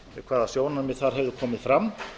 hvaða sjónarmið hefðu komið þar fram